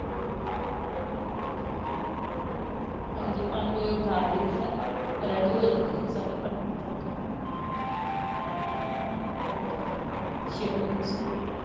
ਹਾਂਜੀ ਪੰਜ ਵਜੇ ਉਠਾ ਦਈਦਾ ਆ ready ਹੋ ਜਾਂਦੇ ਆ ਸਾਡੇ ਪੰਜ ਵਜੇ ਤੱਕ ਅੱਛਾ ਹਾਂਜੀ ਛੇ ਵਜੇ ਨਾ school